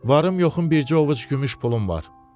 Varım yoxum bircə ovuc gümüş pulum var.